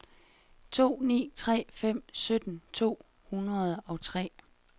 to ni tre fem sytten to hundrede og tre